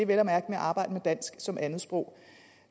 ved at arbejde med dansk som andetsprog